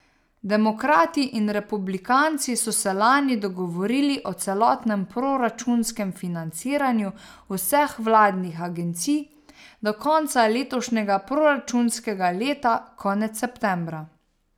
Demokrati in republikanci so se lani dogovorili o celotnem proračunskem financiranju vseh vladnih agencij do konca letošnjega proračunskega leta konec septembra.